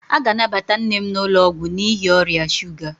A ga-anabata nne m n'ụlọ ọgwụ n'ihi ọrịa shuga